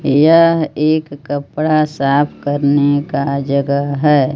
यह एक कपड़ा साफ करने का जगह है।